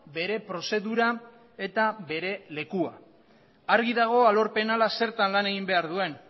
bere prozedura eta bere lekua argi dago alor penala zertan lan egin behar duen